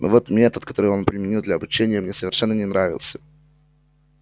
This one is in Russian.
но вот метод который он применил для обучения мне совершенно не нравился